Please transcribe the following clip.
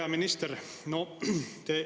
Hea minister!